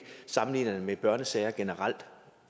sammenligner det med børnesager generelt